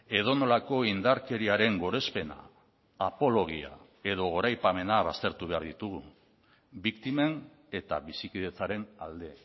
edonolako indarkeriaren gorespena apologia edo goraipamena baztertu behar ditugu biktimen eta bizikidetzaren alde